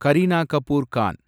Kareena Kapoor Khan